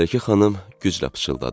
Mələkə xanım güclə pıçıldadı.